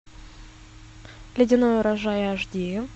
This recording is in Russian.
ледяной урожай аш ди